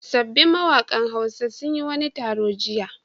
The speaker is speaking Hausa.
Sabbin mawaƙan Hausa sun yi wani taro jiya.